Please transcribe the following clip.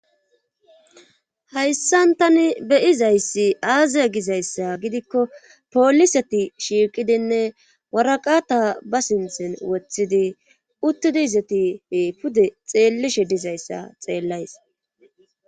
hayssan tani beyizayssi aaze gizayssa gidikko pooliseti shiiqidinne waraqata ba sinthen woththidi uttidi izetife pude xeellishe dizayssa xeellays